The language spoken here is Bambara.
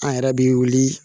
An yɛrɛ bɛ wuli